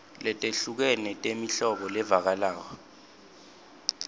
letehlukene temibono levakalako